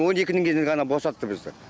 он екінің кезінде ғана босатты бізді